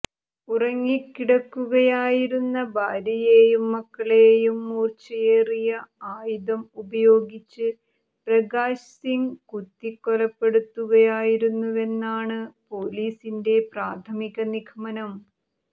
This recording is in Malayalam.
ഉറങ്ങിക്കിടക്കുകയായിരുന്ന ഭാര്യയെയും മക്കളെയും മൂർച്ചയേറിയ ആയുധം ഉപയോഗിച്ച് പ്രകാശ് സിംഗ് കുത്തിക്കൊലപ്പെടുത്തുകയായിരുന്നുവെന്നാണ് പൊലീസിന്റെ പ്രാഥമിക നിഗമനം